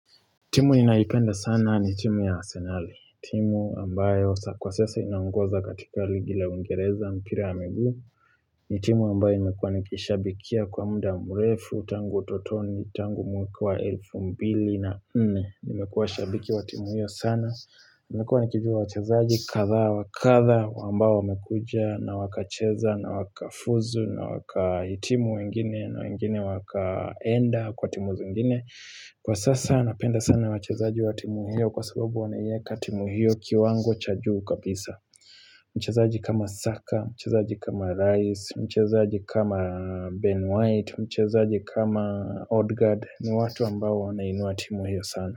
Timu ninayoipenda sana ni timu ya Asenali. Timu ambayo kwa sasa inangoza katika ligi la uingereza mpira wa miguu. Ni timu ambayo nimekuwa nikishabikia kwa muda mrefu, tangu utotoni, tangu mwaka wa elfu mbili na nne. Nimekuwa shabiki wa timu hiyo sana, Nimekuwa nikijua wachezaji, kadhaa wakadha, ambao wamekuja na wakacheza, na wakafuzu, na wakahitimu wengine, na wengine wakaenda kwa timu zingine. Kwa sasa napenda sana wachezaji wa timu hio kwa sababu wanaiyeka timu hio kiwango cha juu kabisa. Mchezaji kama Saka, mchezaji kama Rice, mchezaji kama Ben white, mchezaji kama Odgard, ni watu ambao wanainuwa timu hio sana.